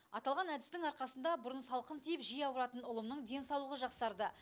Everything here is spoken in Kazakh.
аталған әдістің арқасында бұрын салқын тиіп жиі ауыратын ұлымның денсаулығы жақсарда